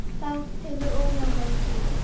Það tekur of langan tíma.